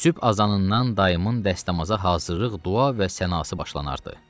Sübh azanından dayımın dəstəmaza hazırlıq, dua və sənası başlanardı.